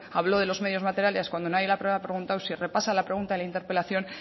habló de los medios materiales cuando nadie le había preguntado si repasa la pregunta de la interpelación